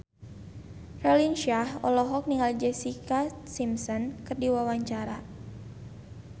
Raline Shah olohok ningali Jessica Simpson keur diwawancara